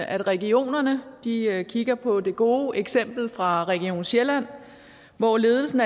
at regionerne kigger på det gode eksempel fra region sjælland hvor ledelsen